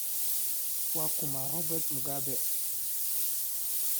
Waa kuma Robert Mugabe?